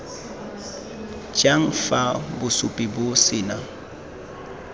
jang fa bosupi bo sena